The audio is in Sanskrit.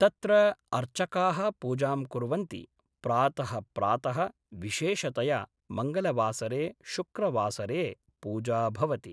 तत्र अर्चकाः पूजां कुर्वन्ति प्रातः प्रातः विशेषतया मङ्गलवासरे शुक्रवासरे पूजा भवति